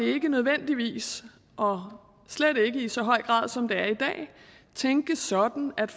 ikke nødvendigvis og slet ikke i så høj grad som det er i dag tænkes sådan at